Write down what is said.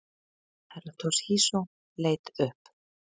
Herra Toshizo leit upp.